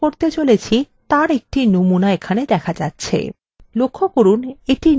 লক্ষ্য করুন এটির নীচে একটি subform দেখা যাচ্ছে